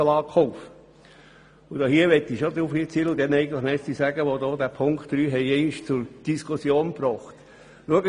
Ich möchte mich bei denjenigen bedanken, welche die Auflage 3 einmal zur Diskussion gebracht haben.